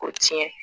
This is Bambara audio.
Ko tiɲɛ